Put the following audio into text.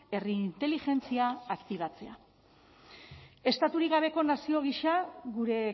herri inteligentzia aktibatzea estaturik gabeko nazio gisa gure